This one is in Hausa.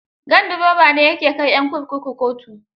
Ganduroba ne ya ke kai 'yan kurkuku kotu.